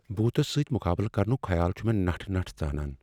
بھوٗتس سۭتۍ مقابلہٕ کرنک خیال چھ مےٚ نٹھ نٹھ ژانان ۔۔